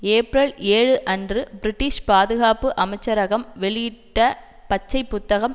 April ஏழு அன்று British பாதுகாப்பு அமைச்சரகம் வெளியிட்ட பச்சைப் புத்தகம்